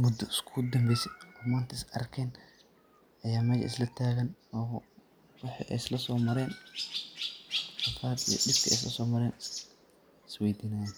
mudo iskugu danbeysay, oo manta is arken aya manta meja isla tagan oo wixi ay isla so mareen rafaad iyo dibkey isla so mareen iswey dinayaan.